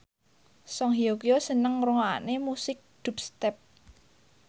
Song Hye Kyo seneng ngrungokne musik dubstep